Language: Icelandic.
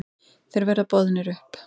Þeir verða boðnir upp.